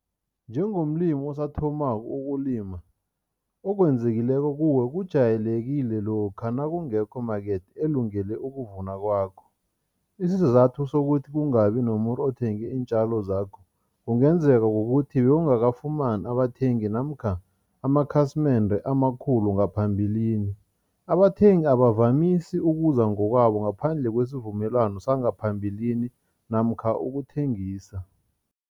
Njengomlimi osathomako ukulima, okwenzekileko kuwe kujayelekile lokha nakungekho market elungele ukuvuna kwakho. Isizathu sokuthi kungabi nomuntu othenge iintjalo zakho, kungenzeka kukuthi bewungakafumani abathengi namkha amakhasimende amakhulu ngaphambilini. Abathengi abakavamisi ukuza ngokwabo ngaphandle kwesivumelwano sangaphambilini namkha ukuthengisa.